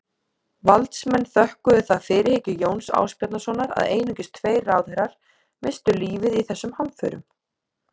Valdsmenn þökkuðu það fyrirhyggju Jóns Ásbjarnarsonar að einungis tveir ráðherrar misstu lífið í þessum hamförum.